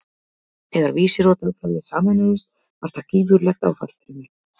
Þegar Vísir og Dagblaðið sameinuðust var það gífurlegt áfall fyrir mig.